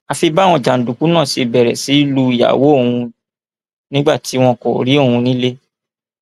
àfi báwọn jàǹdùkú náà ṣe bẹrẹ sí í lu ìyàwó òun nígbà tí wọn kò rí òun nílé